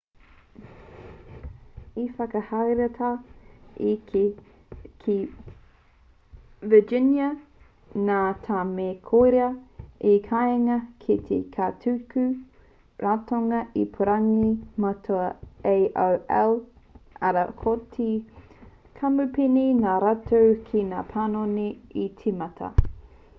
i whakahaeretia te kēhi ki virginia nā te mea koirā te kāinga ki te kaituku ratonga ipurangi matua a aol arā ko te kamupene nā rātou ngā panoni i tīmata